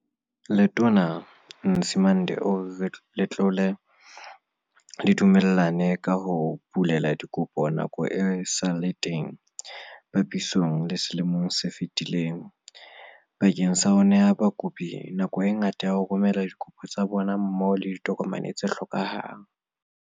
Letona Nzimande o re letlole le dumellane ka ho bulela dikopo nako e sa le teng, papisong le selemo se fetileng, bakeng sa ho neha bakopi nako e ngata ya ho romela dikopo tsa bona mmoho le ditokomane tse hlokehang.